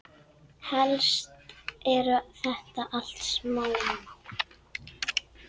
Helst eru þetta allt smámál.